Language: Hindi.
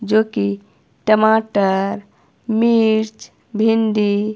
जो कि टमाटर मिर्च भिंडी--